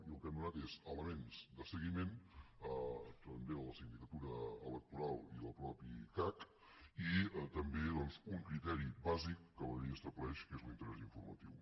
i el que hem donat són elements de seguiment a la sindicatura electoral i al mateix cac i també doncs un criteri bàsic que la llei estableix que és l’interès informatiu